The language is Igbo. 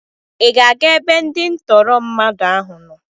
Ị ga-aga ebe ndị ntụrụ mmadụ ahụ nọ?